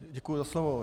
Děkuju za slovo.